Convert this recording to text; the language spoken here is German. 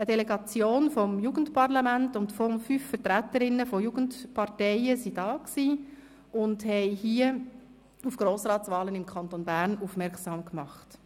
Eine Delegation des Jugendparlaments und fünf Vertreterinnen und Vertreter von Jugendparteien waren hier und haben auf die Grossratswahlen im Kanton Bern aufmerksam gemacht.